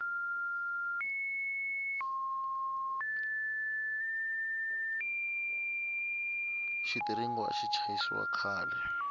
xitiringo axi chayisiwa khale